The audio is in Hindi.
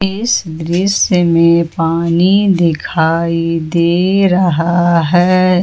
इस दृश्य में पानी दिखाई दे रहा है।